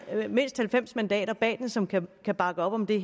er mindst halvfems mandater bag den som kan bakke op om det